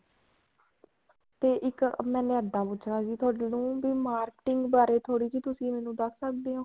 ਤੇ ਮੈਨੇ ਇੱਦਾਂ ਪੁੱਛਣਾ ਸੀ ਵੀ ਥੋਨੂੰ marketing ਬਾਰੇ ਥੋੜੀ ਜੀ ਤੁਸੀਂ ਮੈਨੂੰ ਦੱਸ ਸਕਦੇ ਹੋ